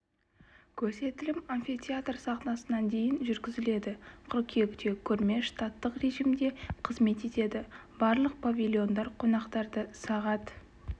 көрсетілім амфитеатр сахнасынан дейін жүргізіледі қыркүйекте көрме штаттық режимде қызмет етеді барлық павильондар қонақтарды сағат